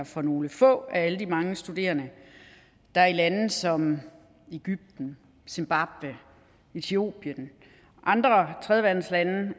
for nogle få af alle de mange studerende der i lande som egypten zimbabwe etiopien og andre tredjeverdenslande